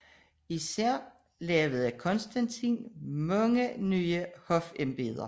Især skabte Konstantin talrige nye hofembeder